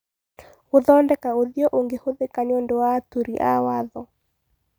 Gũthondeka ũthiũ ũngĩhũthĩka nĩũndũ wa aturi a watho